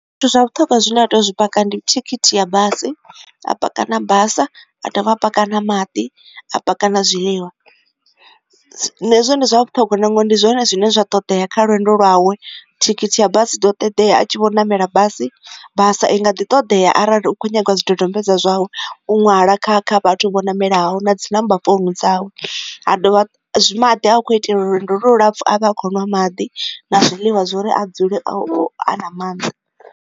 Zwithu zwa vhuṱhoga zwi nda tea u zwi paka ndi thikhithi ya basi a pake na basa a dovhe a pake na maḓi a pake na zwiḽiwa nazwo ndi zwa vhuṱhogwa ngori ndi zwone zwine zwa ṱoḓea kha lwendo lwawe thikhithi ha basi iḓo ṱoḓea a tshi vho namela basi. Basa i nga ḓi ṱoḓea arali u khou nyagiwa zwidodombedzwa zwau u ṅwala kha kha vhathu vho namela hu na dzi number founu dzawe ha maḓi a khou itela lwendo lu lapfhu avha a kho nwa maḓi na zwiḽiwa zwa uri a dzule a u a nga maanḓa.